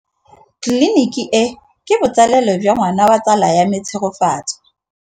Tleliniki e, ke botsalêlô jwa ngwana wa tsala ya me Tshegofatso.